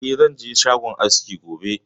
Eh, zan je shagon askin gobe